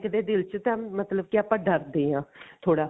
ਇਹਦੇ ਦਿਲ ਚ ਤਾਂ ਮਤਲਬ ਕਿ ਆਪਾਂ ਡਰਦੇ ਹਾਂ ਥੋੜਾ